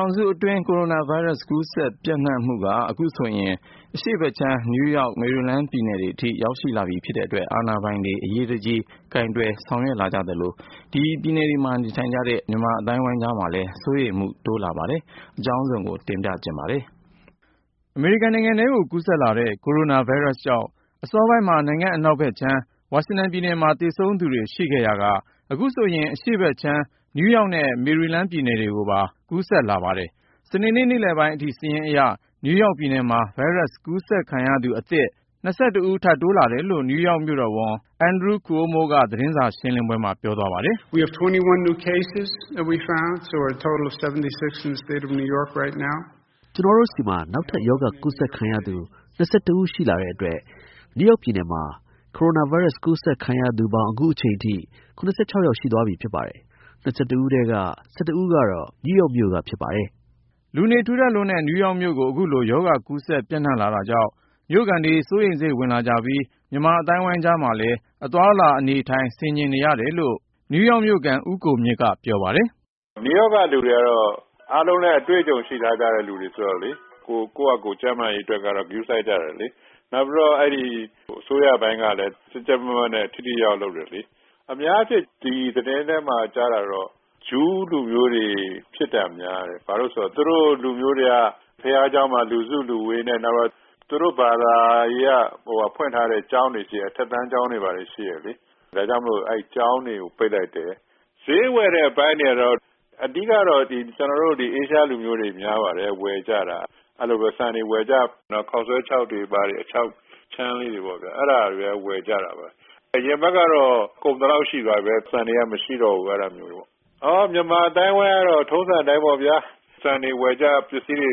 ောင်စုအတွင်း ကိုရိုနာဗိုင်းရပ်စ် ကူးစက်ပျံ့နှံ့မှုက အခုဆိုရင် အရှေ့ဘက်ခြမ်း နယူးယောက်၊ မေရီလန်းပြည်နယ်တွေအထိ ရောက်ရှိလာပြီ ဖြစ်တဲ့အတွက် အာဏာပိုင်တွေ အရေးတကြီး ကိုင်တွယ်ဆောင်ရွက်လာကြသလို ဒီပြည်နယ်တွေမှာ နေထိုင်ကြတဲ့ မြန်မာအသိုင်းအဝိုင်း ကြားမှာလည်း စိုးရိမ်မှုတွေ တိုးလာနေပါတယ်။ အကြောင်းစုံကိုတော့ ကိုဉာဏ်ဝင်းအောင်က ပြောပြမှာပါ။ စနေနေ့ နေ့လယ်ပိုင်းအထိ စာရင်းအရ နယူးယောက်ပြည်နယ်မှာ ဗိုင်းရပ်စ် ကူးစက်ခံရသူအသစ် ၂၁ ဦး ထပ်တိုးလာတယ်လို့ နယူးယောက် ပြည်နယ်အုပ်ချုပ်ရေးမှူး Andrew Cuomo က သတင်းစာရှင်းလင်းပွဲမှာ ပြောသွားပါတယ်။ “ကျနော်တို့ဆီမှာ နောက်ထပ် ရောဂါကူးစက်ခံရသူ ၂၁ ဦး ရှိလာတဲ့အတွက် နယူးယောက်ပြည်နယ်မှာ ကိုရိုနာဗိုင်းရပ်စ် ကူးစက်ခံရသူပေါင်း အခုချိန်ထိ ၇၆ ယောက် ရှိသွားပြီဖြစ်ပါတယ်။ ၂၁ ဦးထဲက ၁၁ ဦးကတော့ နယူးယောက်မြို့က ဖြစ်ပါတယ်။” လူနေထူထပ်လွန်းတဲ့ နယူးယောက်မြို့ကို အခုလို ရောဂါကူးစက် ပျံ့နှံ့လာတာကြောင့် မြို့ခံတွေ စိုးရိမ်စိတ်ဝင်လာကြပြီး မြန်မာအသိုင်းအဝိုင်း ကြားမှာလည်း အသွားအလာ အနေအထိုင် ဆင်ခြင်နေရတယ်လို့ နယူးယောက်မြို့ခံ ဦးကိုမြင့်က ပြောပါတယ်။ “နယူးယောက်ကလူတွေကတော့ အားလုံးလည်း အတွေ့အကြုံ ရှိထားကြတဲ့ လူတွေဆိုတော့ ကိုယ့်ဟာကိုယ် ကျန်းမာရေးအတွက်ကတော့ ဂရုစိုက်ကြတယ်။ နောက်ပြီးတော့ အစိုးရပိုင်းကလည်း ကြပ်ကြပ်မတ်မတ်နဲ့ ထိထိရောက်ရောက် လုပ်တယ်။ အများအားဖြင့် သတင်းထဲမှာ ကြားတာတော့ ဂျူးလူမျိုးတွေ ဖြစ်တာများတယ်။ ဘာဖြစ်လို့လဲဆိုတော့ သူတို့လူမျိုးတွေက ဘုရားကျောင်းမှာ လူစုလူဝေးနဲ့ နောက် သူတို့ဘာသာရေးအရ ဖွင့်ထားတဲ့ အထက်တန်းကျောင်းတွေ ရှိတယ်။ ဒါကြောင့် အဲဒီကျောင်းတွေကို ပိတ်လိုက်တယ်။ “ဈေးဝယ်တဲ့ အပိုင်းတွေမှာ အဓိကတော့ ကျနော်တို့ အာရှလူမျိုးတွေ များပါတယ်၊ ဝယ်ကြတာ။ ဆန်တွေဝယ်ကြ၊ ခေါက်ဆွဲခြောက်တွေ၊ အခြောက်အခြမ်းလေးတွေ အဲဒါတွေ ဝယ်ကြတာပဲ။ အရင်အပတ်ကတော့ ကုန်သလောက် ရှိသွားပြီ၊ ဆန်တွေက မရှိတော့ဘူး။ မြန်မာအသိုင်းအဝိုင်းကတော့ ထုံးစံအတိုင်း ဆန်တွေဝယ်ကြ၊ ပစ္စည်းတွေ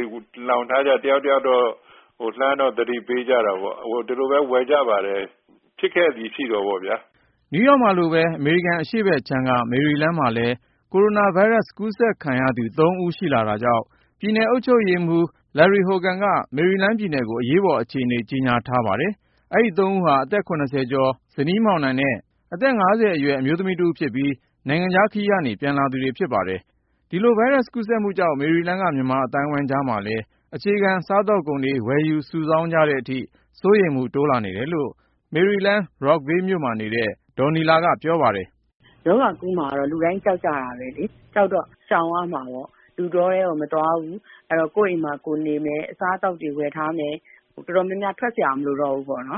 လှောင်ထားကြ၊ တယောက်တယောက် လှမ်းတော့ သတိပေးကြတာပေါ့။ ဒီလိုပဲ ဝယ်ကြပါတယ်။ ဖြစ်ခဲ့သည်ရှိသော်ပေါ့ဗျာ။” နယူးယောက်မှာလိုပဲ အမေရိကန် အရှေ့ဘက်ခြမ်းက မေရီလန်းမှာလည်း ကိုရိုနာဗိုင်းရပ်စ် ကူးစက်ခံရသူ ၃ ဦး ရှိနေလာတာကြောင့် ပြည်နယ်အုပ်ချုပ်ရေးမှူး Larry Hogan က မေရီလန်းပြည်နယ်ကို အရေးပေါ်အခြေအနေ ကြေညာထားပါတယ်။ အဲဒီ ၃ ဦးဟာ အသက် ၇၀ ကျော် ဇနီးမောင်နှံနဲ့ အသက် ၅၀ အရွယ် အမျိုးသမီးတဦးဖြစ်ပြီး နိုင်ငံခြားခရီးက ပြန်လာသူတွေ ဖြစ်ပါတယ်။ သူတို့ကို သီးခြားစီခွဲပြီး စောင့်ကြည့် ကုသနေပါတယ်။ ဒီလို ဗိုင်းရပ်စ်ကူးစက်မှုကြောင့် မေရီလန်းက မြန်မာအသိုင်းအဝိုင်းကြားမှာလည်း အခြေခံစားသောက်ကုန်တွေ ဝယ်ယူစုဆောင်းကြတဲ့အထိ စိုးရိမ်မှု တိုးလာနေတယ်လို့ မေရီလန်း Rockville မြို့မှာနေတဲ့ ဒေါ်နီလာက ပြောပါတယ်။ “ရောဂါကူးမှာကတော့ လူတိုင်း ကြောက်ကြတာပဲလေ။ ကြောက်တော့ ရှောင်ရမှာပေါ့။ လူတောထဲကို မသွားဘူး၊ ကိုယ့်အိမ်မှာ ကိုယ်နေမယ်၊ အစားအသောက်တွေ ဝယ်ထားမယ်၊ တော်တော်များများ ထွက်စရာ မလိုတော့ဘူးပေါ့။ ဒါ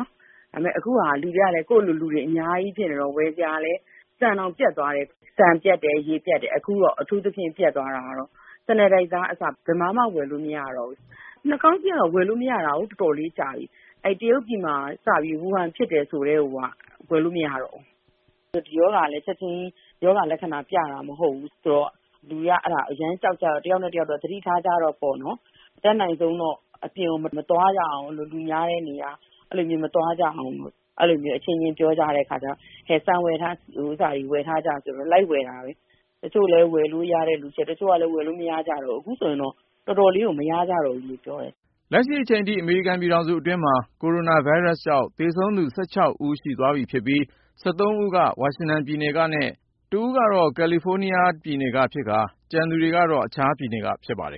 ပေမယ့် အခုက ကိုယ့်လိုလူတွေ အများကြီးဖြစ်နေတော့ ဝယ်စရာလည်း ဆန်တောင်ပြတ်တယ်၊ ရေပြတ်တယ်၊ အခုတော့ အထူးသဖြင့် ပြတ်တာက Sanitizer ကအစ ဘယ်မှာမှ ဝယ်လို့မရတော့ဘူး။ နှာခေါင်းစည်းကတော့ ဝယ်လို့မရတာကို တော်တော်လေးကြာပြီ။ တရုတ်ပြည်မှာ စပြီး ဝူဟန်ဖြစ်တယ် ဆိုကတည်းက ဝယ်လို့မရတော့ဘူး။ “ဒီရောဂါကလည်း ချက်ချင်း ရောဂါလက္ခဏာပြတာ မဟုတ်ဘူးဆိုတော့ လူတွေက အရမ်းကြောက်ကြတော့ တယောက်နဲ့တယောက် သတိထားကြတော့ပေါ့နော်။ အတတ်နိုင်ဆုံးတော့ အပြင်ကို မသွားရအောင်၊ လူများတဲ့နေရာ မသွားကြအောင် အချင်းချင်း ပြောကြတဲ့အခါကြတော့ ဆန်တွေဘာတွေ ဝယ်ထားကြဆိုတော့ လိုက်ဝယ်တာပဲ။ တချို့လည်း ဝယ်လို့ရတဲ့လူရှိတယ်၊ တချို့လည်း ဝယ်လို့မရကြတော့ဘူး။ အခုဆိုရင် တော်တော်လေးကို မရကြတော့ဘူးလို့ ပြောတယ်။” လက်ရှိအချိန်ထိ အမေရိကန်ပြည်ထောင်စုအတွင်းမှာ ကိုရိုနာဗိုင်းရပ်စ်ကြောင့် သေဆုံးသူ ၁၉ ဦး ရှိသွားပြီဖြစ်ပြီး ၁၃ ဦးက ဝါရှင်တန်ပြည်နယ်ကနဲ့ တဦးက ကာလီဖိုးနီးယားပြည်နယ်ကဖြစ်ကာ ကျန်သူတွေက အခြားပြည်နယ်က ဖြစ်ပါတယ်